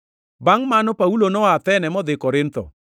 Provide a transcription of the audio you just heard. Bangʼ mano, Paulo noa Athene modhi Korintho.